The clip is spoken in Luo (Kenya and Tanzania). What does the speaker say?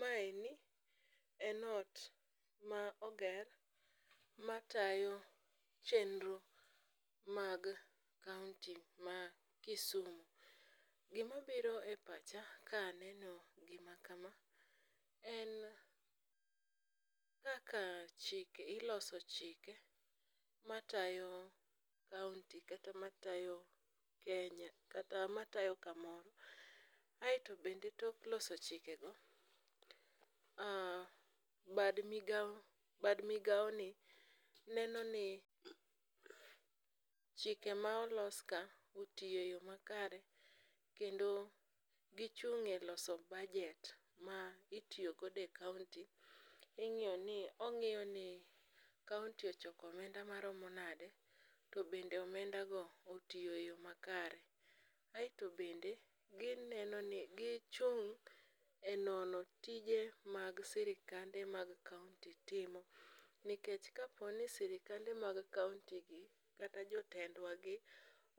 Maeni en ot ma oger matayo chenro mag kaonti ma Kisumu. Gimabiro e pacha kaneno gima kama, en kaka iloso chiek matayo kaonti kata matayo Kenya kata matayo kamoro, aeto bende tok loso chikego, bad migawoni neno ni chike ma oloskaotiyo e yo makare, kendo gichung' e loso budget ma itiyo godo e kaonti. Ong'iyo ni kaonti ochoko omenda maromo nade, to bende omenda go otiyo e yo makare, aeto bende gichung' e nono tije mag sirikande mag kaonti timo, nikech kaponi sirikande mag kaontigi kata jotendwagi